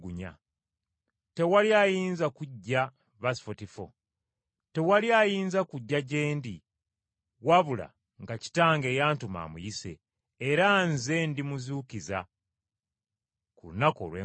Tewali ayinza kujja gye ndi wabula nga Kitange eyantuma amuyise, era Nze ndimuzuukiza ku lunaku olw’enkomerero.